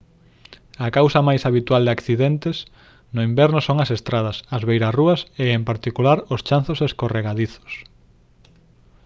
a causa máis habitual de accidentes no inverno son as estradas as beirarrúas e en particular os chanzos escorregadizos